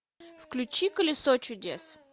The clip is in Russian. включи колесо чудес